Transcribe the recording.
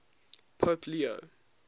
pope leo